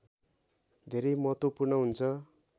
धेरै महत्त्वपूर्ण हुन्छ